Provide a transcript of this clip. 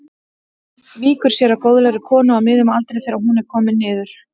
Víkur sér að góðlegri konu á miðjum aldri þegar hún er komin niður.